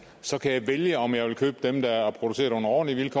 så kan jeg vælge om jeg vil købe dem der er produceret under ordentlige